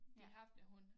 De haft en hund